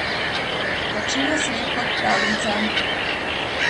Začelo se je kot pravljica.